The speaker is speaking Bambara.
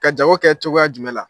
Ka jago kɛ cogoya jumɛn la?